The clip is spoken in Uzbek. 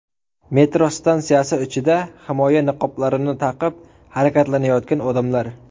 Metro stansiyasi ichida himoya niqoblarini taqib harakatlanayotgan odamlar.